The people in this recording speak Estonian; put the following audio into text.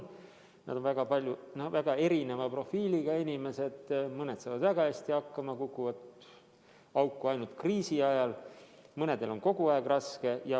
Nad on väga erineva profiiliga inimesed, mõned saavad väga hästi hakkama, kukuvad auku ainult kriisi ajal, mõnel on kogu aeg raske.